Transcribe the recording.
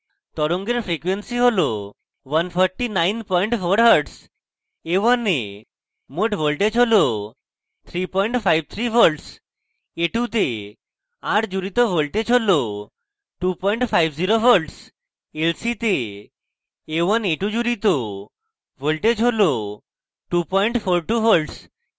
তরঙ্গের frequency হল 1494hz